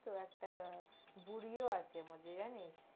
তহ একটা বুড়িও আছে এরমধ্য়ে জানিস্